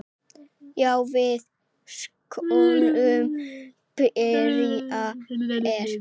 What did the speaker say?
Já, við skulum byrja hér.